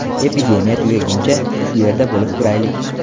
Epidemiya tugaguncha, shu yerda bo‘lib turaylik.